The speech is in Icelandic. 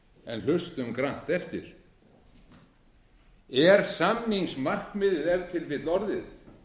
en hlustum grannt eftir er samningsmarkmiðið ef til vill orðið